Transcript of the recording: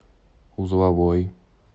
узловой